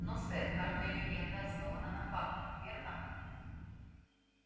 но сэр каждая легенда основана на фактах верно